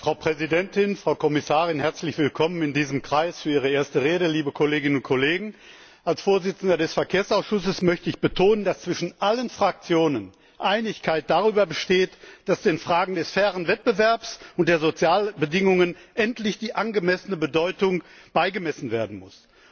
Frau Präsidentin, Frau Kommissarin herzlich willkommen in diesem Kreis für Ihre erste Rede liebe Kolleginnen und Kollegen! Als Vorsitzender des Verkehrsausschusses möchte ich betonen, dass zwischen allen Fraktionen Einigkeit darüber besteht, dass den Fragen des fairen Wettbewerbs und der sozialen Bedingungen endlich die angemessene Bedeutung beigemessen werden muss.